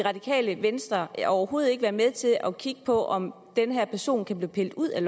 radikale venstre overhovedet ikke være med til at kigge på om den her person kan blive pillet ud af